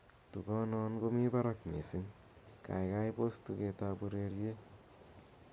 tugon non komi barak missing gaigai pos tuget ab ureryet